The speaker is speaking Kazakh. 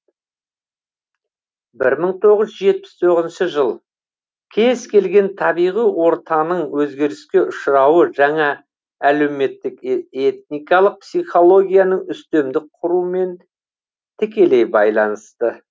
бір мың тоғыз жүз жетпіс тоғызыншы жыл кез келген табиғи ортаның өзгеріске ұшырауы жаңа әлеуметтік этникалық психологияның үстемдік құруымен тікелей байланысты